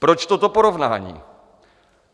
Proč toto porovnání?